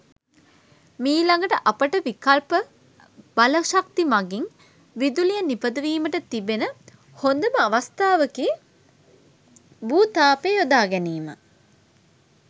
මීළඟට අපට විකල්ප බලශක්ති මගින් විදුලිය නිපදවීමට තිබෙන හොඳම අවස්ථාවකි භූ තාපය යොදා ගැනීම.